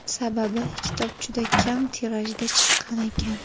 Sababi, kitob juda kam tirajda chiqqan ekan.